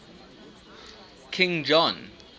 king john